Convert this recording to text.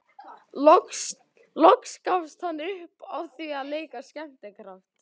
Loks gafst hann upp á því að leika skemmtikraft.